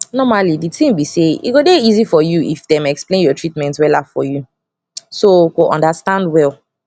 normally di tin be say e go dey easy for u if dem explain ur treatment wella for u so go understand well